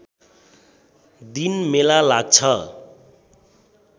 दिन मेला लाग्छ